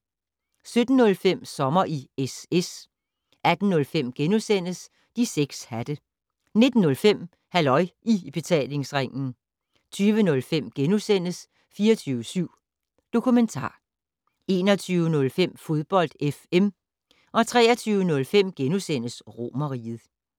17:05: Sommer i SS 18:05: De 6 hatte * 19:05: Halløj I Betalingsringen 20:05: 24syv Dokumentar * 21:05: Fodbold FM 23:05: Romerriget *